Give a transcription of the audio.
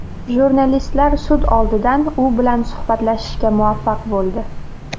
Jurnalistlar sud oldidan u bilan suhbatlashishga muvaffaq bo‘ldi.